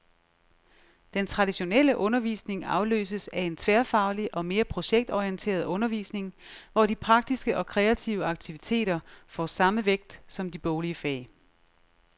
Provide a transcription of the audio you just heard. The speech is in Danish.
Den traditionelle undervisning afløses af en tværfaglig og mere projektorienteret undervisning, hvor de praktiske og kreative aktiviteter får samme vægt som de boglige fag.